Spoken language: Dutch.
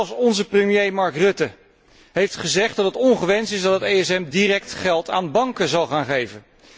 Zelfs onze premier Marc Rutte heeft gezegd dat het ongewenst is dat het ESM direct geld aan banken zou gaan geven.